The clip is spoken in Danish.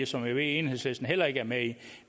som jeg ved enhedslisten heller ikke er med i